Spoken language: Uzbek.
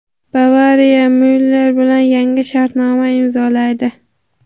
"Bavariya" Myuller bilan yangi shartnoma imzolaydi.